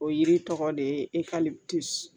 O yiri tɔgɔ de ye